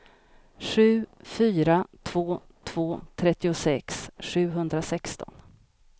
sju fyra två två trettiosex sjuhundrasexton